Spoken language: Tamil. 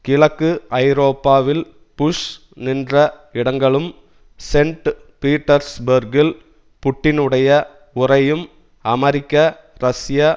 கிழக்கு ஐரோப்பாவில் புஷ் நின்ற இடங்களும் சென்ட் பீட்டர்ஸ்பேர்க்கில் புட்டினுடைய உரையும் அமெரிக்க ரஷ்ய